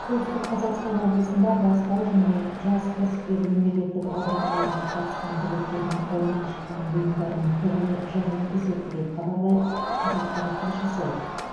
солтүстік қазақстан облысында бастау және жас кәсіпкер мемлекеттік бағдарламаларына қатысқан түлектердің қолынан шыққан бұйымдарының көрме жәрмеңкесі өтті деп хабарлайды қазақпарат тілшісі